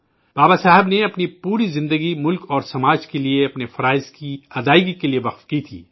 بابا صاحب نے اپنی پوری زندگی ملک اور سماج کے لیے اپنے فرائض کی انجام دہی کے لیے وقف کر دی تھی